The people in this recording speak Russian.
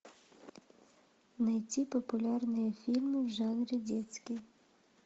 найти популярные фильмы в жанре детский